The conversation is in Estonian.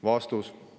" Vastus.